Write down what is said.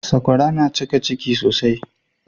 Sakwara na cika ciki sosai